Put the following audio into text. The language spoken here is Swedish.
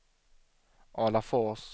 Alafors